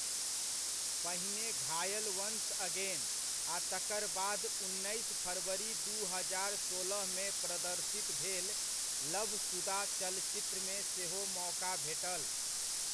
पहिने Ghayal once again आ तकर बाद उन्नैस फरवरी दू हजार सोलहमे प्रदर्शित भेल लभशुदा चलचित्रमे सेहो मौका भेटल।